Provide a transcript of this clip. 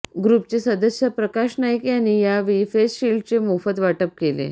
ग्रुपचे सदस्य प्रकाश नाईक यांनी यावेळी फेसशिल्डचे मोफत वाटप केले